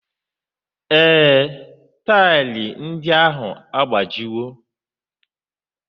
Ee, taịlị ndị ahụ agbajiwo